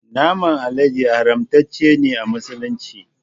Naman alade haramtace ne a musulunci